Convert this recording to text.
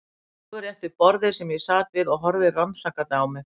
Hann stóð rétt við borðið sem ég sat við og horfði rannsakandi á mig.